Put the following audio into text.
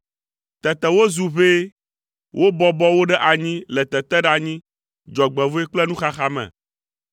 Tete wozu ʋɛ, wobɔbɔ wo ɖe anyi le teteɖeanyi, dzɔgbevɔ̃e kple nuxaxa me;